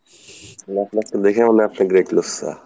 কিন্তু আপনাকে দেখে মনে হয় আপনি great লুচ্ছা।